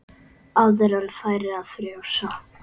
Áður en færi að frjósa.